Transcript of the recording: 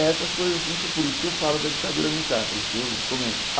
Essas coisas assim, que por isso que eu falo da ditadura militar, por isso que eu comento.